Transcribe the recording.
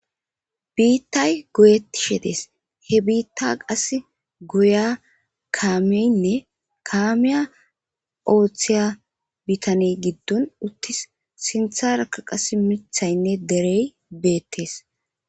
Bittayi goyetishe dessi he bitta goyiya kameyine kamiya othiya bitaneyi gidoni utisi sinthara qassi mithayine derey betesi